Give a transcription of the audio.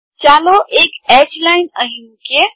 ચાલો એક H line અહીં મુકીએ